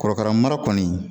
Korokara mara kɔni